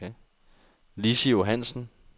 Lissy Johannesen